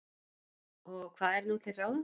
Og hvað er nú til ráða?